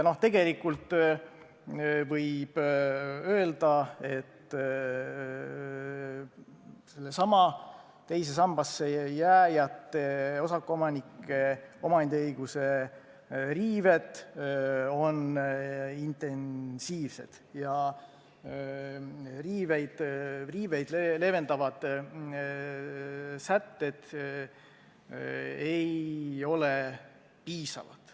Ja tegelikult võib öelda, et sellesama teise sambasse jääjate, osakuomanike omandiõiguse riived on intensiivsed ja neid leevendavad sätted ei ole piisavad.